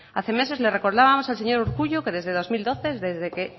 hace meses le recordábamos al señor urkullu que desde dos mil doce desde que